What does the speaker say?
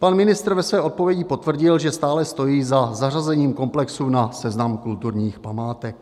Pan ministr ve své odpovědi potvrdil, že stále stojí za zařazením komplexu na seznam kulturních památek.